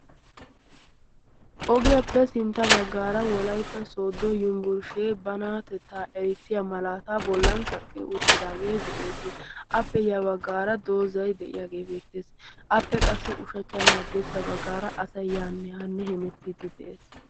ogiyaappe sintta baggaara wolaytta sooddo yinbbursshee banaatettaa erissiya malaata bollan kaqqi uttidaagee de'ees appe yabaggaara doozay de'iyaagee beettees appe qassi ushachchanne haddiirssa baggaara asay yaannahaanne hemettiiddi de'ees